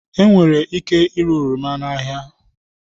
Enwere ike ire oroma n'ahịa